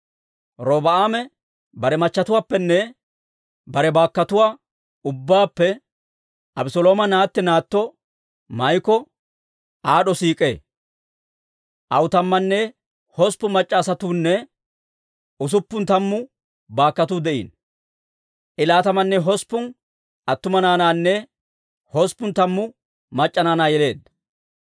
Robi'aame bare machchetuwaappenne bare baakkotuwaa ubbaappe Abeselooma naatti naatto Maa'iko aad'd'o siik'ee. Aw tammanne hosppun mac'c'a asatuunne usuppun tammu baakkotuu de'iino. I laatamanne hosppun attuma naanaanne usuppun tammu mac'c'a naanaa yeleedda.